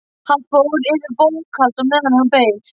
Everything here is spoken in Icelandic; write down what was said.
Hann fór yfir bókhald á meðan hann beið.